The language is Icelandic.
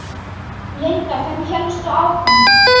Linda: Hvernig hélstu áfram?